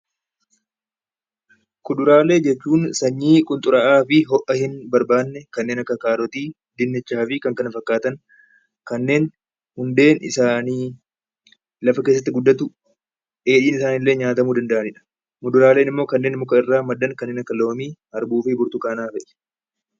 Kuduraalee jechuun sanyii kuduraa fi ho'aa hedduu in barbanne kanneen akka kaarooti, dinnichaa fi kanneen kana fakkatan, kanneen hundee isaanii lafa keessatti guddatu dheedhiin isaaniillee nyaatamu dand'anidha. muduraaleen immoo kanneen muka irra maddaan kanneen akka loomii, arbuufi burtukaana fa'i.